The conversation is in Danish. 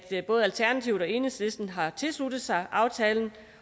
både alternativet og enhedslisten efterfølgende har tilsluttet sig aftalen